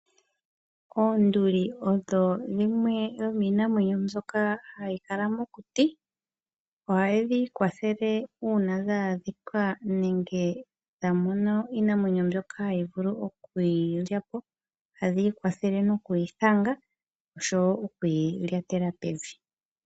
Oonduli odho dhimwe dhomiinamwenyo mbyoka hayi kala mokuti. Oha dhi ikwathele uuna dha adhika nenge dha mono iinamwenyo mbyono hayi vulu okudhi lyapo. Ohadhi ikwathele nokuyi thanga oshowo okuyi lyatela pevi.